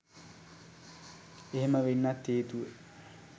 එහෙම වෙන්නත් හේතුව